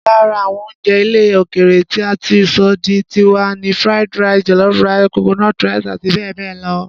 Lára àwọn oúnjẹ ilẹ̀ òkèèrè tí a ti sọ di tiwa ni Fried rice, jollof rice, coconut rice àti bẹ́ẹ̀ bẹ́ẹ̀ lọ.